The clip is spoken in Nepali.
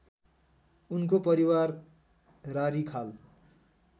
उनको परिवार रारीखाल